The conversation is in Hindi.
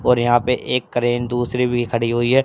और यहां पे एक क्रेन दूसरी भी खड़ी हुई है।